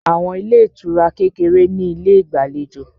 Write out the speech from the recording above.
Àwọn ilé ìtura kékeré ní ilé ìgbàlejò